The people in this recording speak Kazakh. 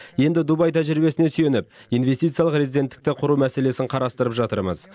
енді дубай тәжірибесіне сүйеніп инвестициялық резиденттікті құру мәселесін қарастырып жатырмыз